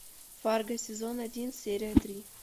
фарго сезон один серия три